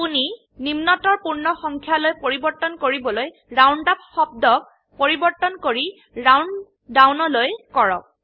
আপোনি নিম্নতৰ পূৰ্ণ সংখ্যায়লৈ পৰিবৰ্তন কৰিবলৈ ৰাউন্ড আপ শব্দক পৰিবৰ্তন কৰি ৰাউন্ড ডাউন লৈ কৰক